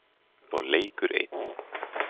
Og leikur einn.